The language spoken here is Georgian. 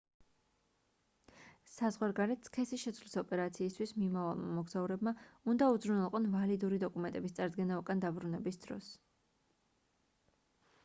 საზღვარგარეთ სქესის შეცვლის ოპერაციისთვის მიმავალმა მოგზაურებმა უნდა უზრუნველყონ ვალიდური დოკუმენტების წარდგენა უკან დაბრუნების დროს